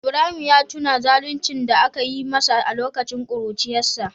Ibrahim ya tuna zaluncin da aka yi masa a lokacin kuruciyarsa